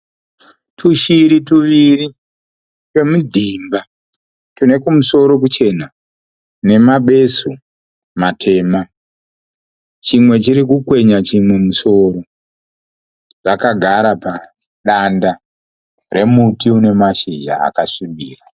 Tushiri tuviri twemidhimba. Tune kumusoro kuchena nemabesu matema. Chimwe chirikukwenya chimwe mumusoro. Dzakagara padanda remuti une mashizha akasvibira.